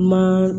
Ma